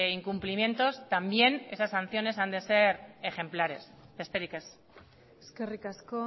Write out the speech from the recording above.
incumplimientos también esas sanciones han de ser ejemplares besterik ez eskerrik asko